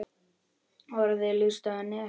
Orðin lýstu henni ekki.